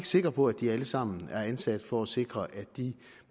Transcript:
sikker på at de alle sammen er ansat for at sikre at de